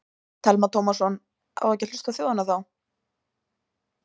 Telma Tómasson: Á ekki að hlusta á þjóðina þá?